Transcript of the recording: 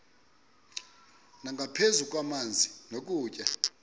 nangaphezu kwamanzi nokutya